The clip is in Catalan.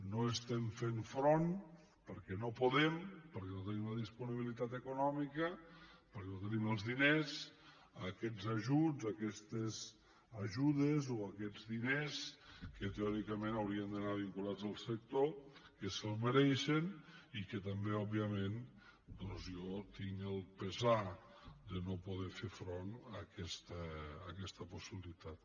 no estem fent front perquè no podem perquè no tenim la disponibilitat econòmica perquè no tenim els diners a aquests ajuts a aquestes ajudes o a aquests diners que teòricament haurien d’anar vinculats al sector que se’ls mereixen i que també òbviament doncs jo tinc el pesar de no poder fer front a aquesta possibilitat